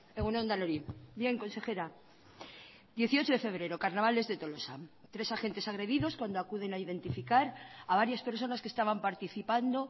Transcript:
egun on denoi bien consejera dieciocho de febrero carnavales de tolosa tres agentes agredidos cuando acuden a identificar a varias personas que estaban participando